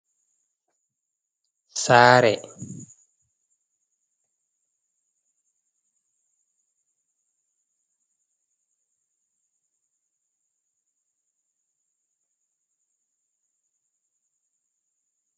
Saare nyiɓaande timminaama, ɓeɗon naftira bee maare ngam waaluki siuta e ɗaanuki, haa fahin ndaa masinji ɗiɗi ɗo dari haa yonnde saare ndee.